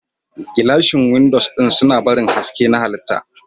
Gilashin windows suna barin haske na halitta.